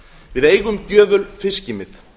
við eigum gjöful fiskimið